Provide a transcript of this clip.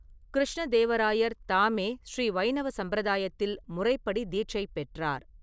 கிருஷ்ண தேவராயர் தாமே ஸ்ரீ வைணவ சம்பிரதாயத்தில் முறைப்படி தீட்சை பெற்றார்.